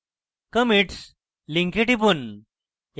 commits link টিপুন